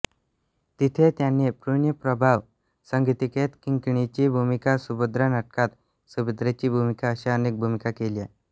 तिथे त्यांनी पुण्यप्रभाव संगीतिकेत किंकिणीची भूमिका सुभद्रा नाटकात सुभद्रेची भूमिका अशा अनेक भूमिका केल्या